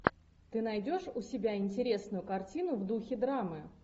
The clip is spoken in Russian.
ты найдешь у себя интересную картину в духе драмы